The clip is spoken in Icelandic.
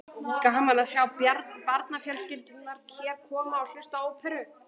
Gaman að sjá barnafjölskyldurnar hér koma og hlusta á óperur.